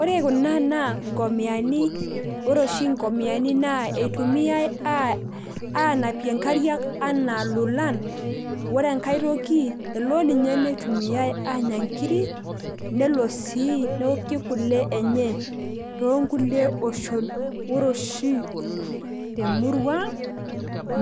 ore kuna naa nkomiani, ore oshi nkomiani, naa eitumiae aanapie nkariak anaa lolan. ore enkae toki elo ninye neitumiae aanya nkiri, nelo sii neoki kule enye. toonkulie oshon. ore oshi temurua ang